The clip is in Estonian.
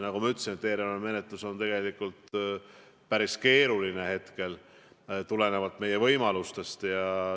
Nagu ma ütlesin, eelarvemenetlus on päris keeruline, tulenevalt meie võimalustest.